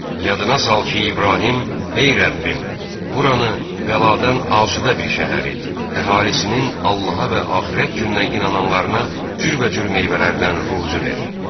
Yadına sal ki, İbrahim, ey Rəbbim, buranı bəladan asudə bir şəhər et, əhalisinin Allaha və axirət gününə inananlarına cürbəcür meyvələrdən ruzi ver.